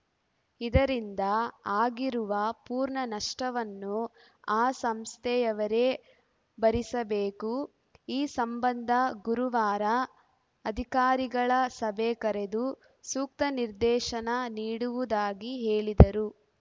ಇದರಿಂದ ಆಗಿರುವ ಪೂರ್ಣ ನಷ್ಟವನ್ನು ಆ ಸಂಸ್ಥೆಯವರೇ ಭರಿಸಬೇಕು ಈ ಸಂಬಂಧ ಗುರುವಾರ ಅಧಿಕಾರಿಗಳ ಸಭೆ ಕರೆದು ಸೂಕ್ತ ನಿರ್ದೇಶನ ನೀಡುವುದಾಗಿ ಹೇಳಿದರು